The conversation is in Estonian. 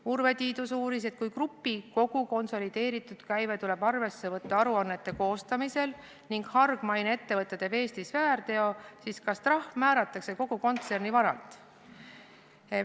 Urve Tiidus uuris, et kui grupi kogu konsolideeritud käive tuleb arvesse võtta aruannete koostamisel ning hargmaine ettevõte teeb Eestis väärteo, siis kas trahv määratakse kogu kontserni vara põhjal.